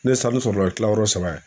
Ne sanu sɔrɔla tilayɔrɔ saba ye.